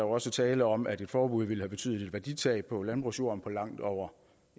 også tale om at et forbud ville et betydeligt værditab på landbrugsjorden på langt over